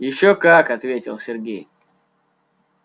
ещё как ответил сергей